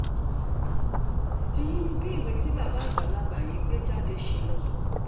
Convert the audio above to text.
èyí ni bí ìwé tí bàbá àgbàlagbà yìí gbé jáde ṣe lọ